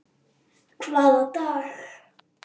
Hvaða dag?